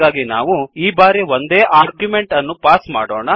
ಹಾಗಾಗಿ ನಾವು ಈ ಬಾರಿ ಒಂದೇ ಆರ್ಗ್ಯುಮೆಂಟ್ ಅನ್ನು ಪಾಸ್ ಮಾಡೋಣ